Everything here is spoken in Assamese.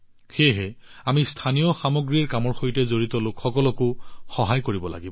সেয়েহে আমি স্থানীয় সামগ্ৰীৰ কামৰ সৈতে জড়িত লোকসকলকো সমৰ্থন কৰিব লাগিব